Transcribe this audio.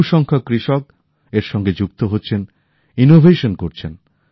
বহুসংখ্যক কৃষক এর সঙ্গে যুক্ত হচ্ছেন উদ্ভাবন করছেন